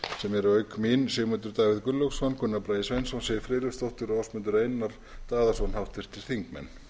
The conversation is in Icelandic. sem eru auk mín sigmundur davíð gunnlaugsson gunnar bragi sveinsson siv friðleifsdóttir ásmundur einar daðason háttvirtir þingmenn